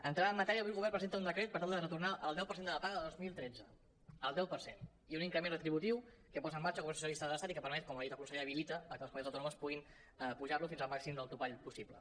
entrant en matèria avui el govern presenta un decret per tal de retornar el deu per cent de la paga de dos mil tretze el deu per cent i un increment retributiu que posa en marxa el govern socialista de l’estat i que permet com ha dit el conseller habilita que les comunitats autònomes puguin apujar lo fins al màxim del topall possible